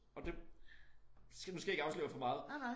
Og det skal nu skal jeg ikke afsløre for meget